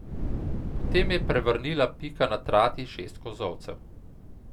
Potem je prevrnila Pika na trati šest kozolcev.